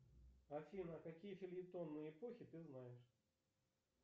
афина какие фельетонные эпохи ты знаешь